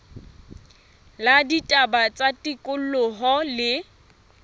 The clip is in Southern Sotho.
la ditaba tsa tikoloho le